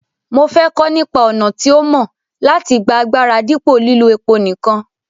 mo fẹ́ kọ́ nípa àwọn ọ̀nà tí ó mọ́ láti gba agbára dípò lílo epo nìkan.